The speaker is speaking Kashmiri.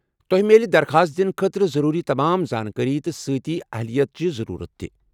تۄہہِ میلہِ درخاست دِنہٕ خٲطرٕ ضروٗری تمام زانٛکٲرِی، تہٕ سٕتی اہلیت چہِ ضروُرتہٕ تہِ ۔